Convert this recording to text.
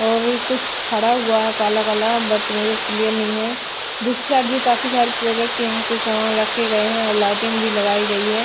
और कुछ खड़ा हुआ है काला काला बट मेरे को क्लियर नहीं है दूसरी साइड भी काफी सारे प्रोडक्ट यहां पर सामान रखे गए हैं और लाइटिंग भी लगाई गई है।